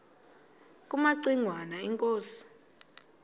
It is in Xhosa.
kumaci ngwana inkosi